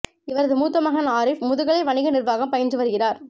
இவரது மூத்த மகன் ஆரிஃப் முதுநிலை வணிக நிர்வாகம் பயின்று வருகிறார்